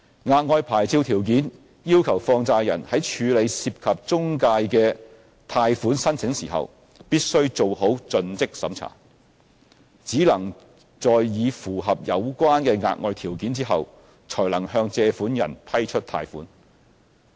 額外牌照條件要求放債人在處理涉及中介的貸款申請時必須做好盡職審查，只能在已符合有關的額外條件後，才能向借款人批出貸款。